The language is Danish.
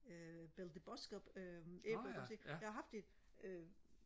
øh Belle de Boskoop øh æbler ikke også ikke jeg har haft det øh